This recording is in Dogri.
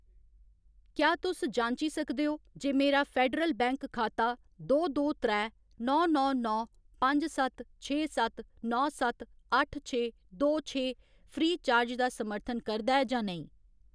क्या तुस जांची सकदे ओ जे मेरा फेडरल बैंक खाता दो दो त्रै नौ नौ नौ पंज सत्त छे सत्त नौ सत्त अट्ठ छे दो छे फ्री चार्ज दा समर्थन करदा ऐ जां नेईं ?